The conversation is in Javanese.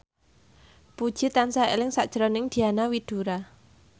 Puji tansah eling sakjroning Diana Widoera